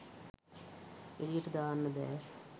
එළියට දාන්න බෑ